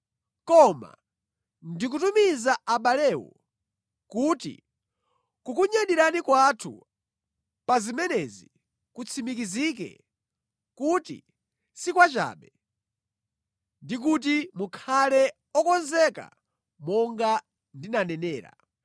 Koma ndikutumiza abalewo kuti kukunyadirani kwathu pa zimenezi kutsimikizike kuti si kwachabe ndi kuti mukhale okonzeka monga ndinanenera.